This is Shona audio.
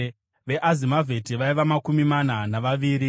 veAzimavheti vaiva makumi mana navaviri;